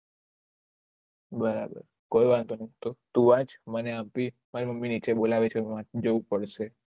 બરાબર કોઈ વાંધુ નથી તું વાચ મને આમ ભી મારી મમ્મી નીચે બોલાવે છે મને જાઉં જ પડશે